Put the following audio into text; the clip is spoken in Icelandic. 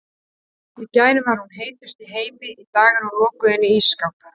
Í gær var hún heitust í heimi, í dag er hún lokuð inni í ísskáp.